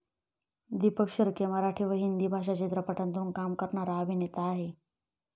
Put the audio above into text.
दीपक शिर्के' मराठी व हिंदी भाषा चित्रपटांतून काम करणारा अभिनेता आहे.